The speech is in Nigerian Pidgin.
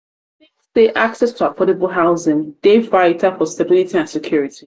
i dey think say access to affordable housing dey vital for stability and security.